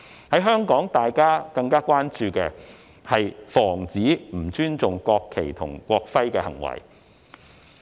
在香港，大家更關注的，是防止不尊重國旗和國徽的行為。